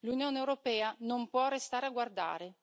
L'Unione europea non può restare a guardare.